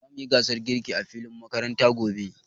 Zamu yi gasar girki a filin makarantar mu gobe.